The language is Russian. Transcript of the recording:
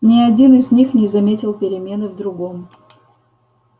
ни один из них не заметил перемены в другом